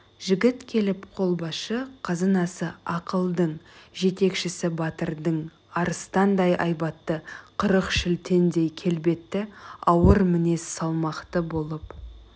жігіт келіп қолбасшы қазынасы ақылдың жетекшісі батырдың арыстандай айбатты қырық шілтендей келбетті ауыр мінез салмақты болып